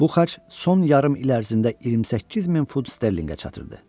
Bu xərc son yarım il ərzində 28 min funt sterlinqə çatırdı.